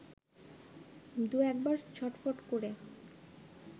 দু-একবার ছটফট করে